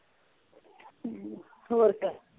ਹਮ ਹੋਰ ਫੇਰ